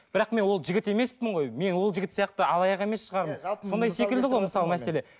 бірақ мен ол жігіт емеспін ғой мен ол жігіт сияқты алаяқ емес шығармын сондай секілді ғой мысалы мәселе